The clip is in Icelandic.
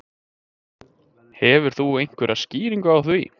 Hefur þú einhverja skýringu á því?